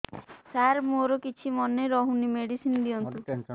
ସାର ମୋର କିଛି ମନେ ରହୁନି ମେଡିସିନ ଦିଅନ୍ତୁ